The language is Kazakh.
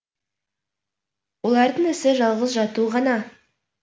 олардың ісі жалғыз жату ғана